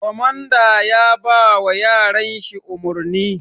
Komanda yabawa yaran shi umurni